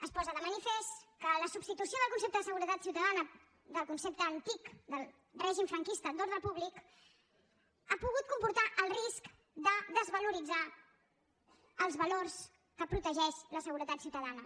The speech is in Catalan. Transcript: es posa de manifest que la substitució del concepte de seguretat ciutadana del concepte antic del règim franquista d’ordre públic ha pogut comportar el risc de desvaloritzar els valors que protegeix la seguretat ciutadana